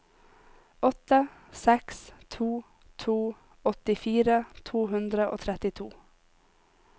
åtte seks to to åttifire to hundre og trettito